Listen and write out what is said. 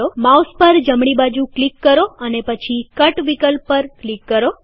mouse પર જમણી બાજુ ક્લિક કરો અને પછી કટ વિકલ્પ પર ક્લિક કરો